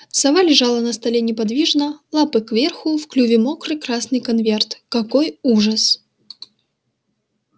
сова лежала на столе неподвижно лапы кверху в клюве мокрый красный конверт какой ужас